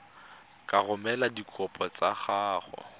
ka romela dikopo tsa gago